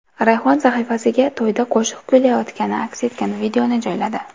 Rayhon sahifasiga to‘yda qo‘shiq kuylayotgani aks etgan videoni joyladi.